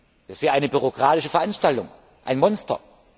Das wäre eine bürokratische Veranstaltung, ein Monster.